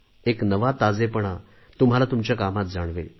एक नवा ताजेपणा तुम्हाला तुमच्या कामात जाणवेल